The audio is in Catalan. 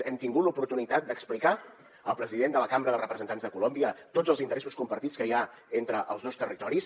hem tingut l’oportunitat d’explicar al president de la cambra de representants de colòmbia tots els interessos compartits que hi ha entre els dos territoris